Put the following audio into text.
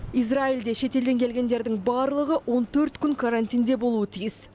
израильде шетелден келгендердің барлығы он төрт күн карантинде болуы тиіс